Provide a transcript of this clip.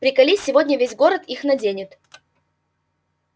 приколи сегодня весь город их наденет